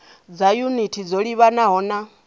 dza yunithi dzo livhanaho na